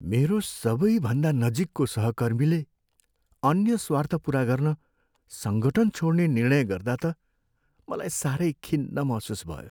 मेरो सबैभन्दा नजिकको सहकर्मीले अन्य स्वार्थ पुरा गर्न सङ्गठन छोड्ने निर्णय गर्दा त मलाई साह्रै खिन्न महसुस भयो।